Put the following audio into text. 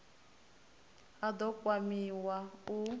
a d o kwamiwa u